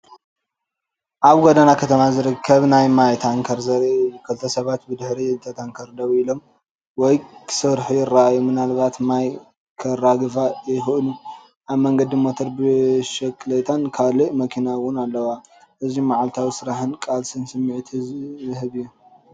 ኣብ ጎደና ከተማ ዝርከብ ናይ ማይ ታንከር ዘርኢ እዩ። ክልተ ሰባት ብድሕሪ እታ ታንከር ደው ኢሎም ወይ ክሰርሑ ይረኣዩ፡ምናልባት ማይ ከራግፉ ይኽእሉ። ኣብ መንገዲ ሞተር ብሽክለታን ካልእ መኪናን እውን ኣለዋ። እዚ መዓልታዊ ስራሕን ቃልስን ስምዒት ዝህብ እዩ።